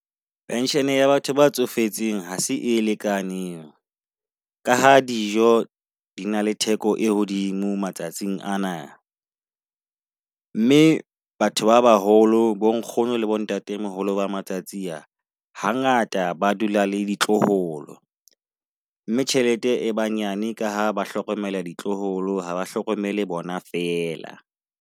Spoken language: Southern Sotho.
Pension ya batho ba tsofetseng ha se e lekaneng, ka ha dijo di na le theko e hodimo matsatsing ana. Mme batho ba baholo bo nkgono le bo ntatemoholo ba matsatsi a hangata ba dula le ditloholo. Mme tjhelete e banyane ka ha ba hlokomela ditloholo, ha ba hlokomele bona fela.